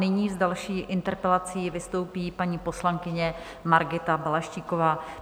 Nyní s další interpelací vystoupí paní poslankyně Margita Balaštíková.